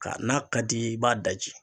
Ka n'a ka d'i ye i b'a daji